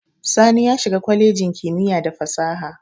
Sani ya shiga kwalejin kimiyya da fasaha.